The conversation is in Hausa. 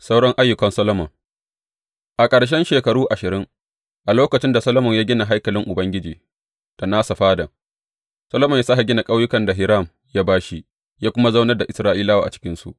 Sauran ayyukan Solomon A ƙarshen shekaru ashirin, a lokacin da Solomon ya gina haikalin Ubangiji da nasa fadan, Solomon ya sāke gina ƙauyukan da Hiram ya ba shi, ya kuma zaunar da Isra’ilawa a cikinsu.